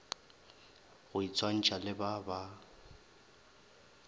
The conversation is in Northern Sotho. go itshwantšha le ba ba